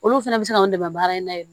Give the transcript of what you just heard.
Olu fɛnɛ bɛ se k'an dɛmɛ baara in na